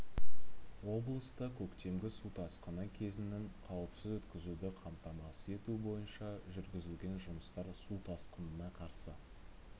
облыста көктемгі су тасқыны кезеңін қауіпсіз өткізуді қамтамасыз ету бойынша жүргізілген жұмыстар су тасқынына қарсы